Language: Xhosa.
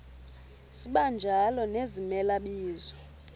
sibanjalo nezimela bizo